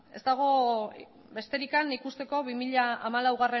ikusi besterik ez dago bi mila hamalauko